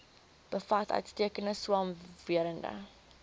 bevat uitstekende swamwerende